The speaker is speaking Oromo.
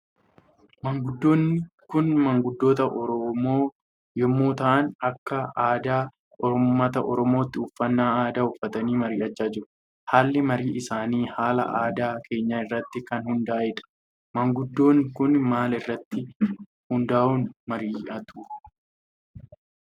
Maanguddoonni Kun maanguddoota oromoo yommuu ta'an Akka aadaa uummata oromootti uffannaa aada uffatanii marii'achaa jiru. Haalli marii isaanii haala aadaa keenya irratti kan hundaahedha. Maanguddoonni Kun maal irratti hundaa'uun marii'atu?